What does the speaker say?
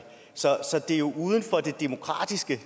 så det er uden for det demokratiske